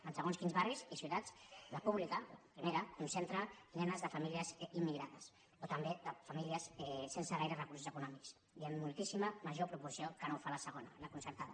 en segons quins barris i ciutats la pública la primera concentra nenes de famílies immigrades o també de famílies sense gaires recursos econòmics i en moltíssima major proporció que no ho fa la segona la concertada